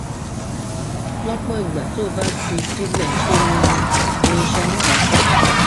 lọpọ ìgbà tó o bá fi í sílẹ ńṣe ni ni iṣan náà á sàn